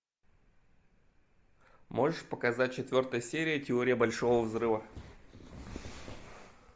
можешь показать четвертая серия теория большого взрыва